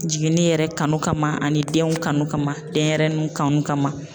Jiginni yɛrɛ kanu kama ani denw kanu kama denɲɛrɛninw kanu kama.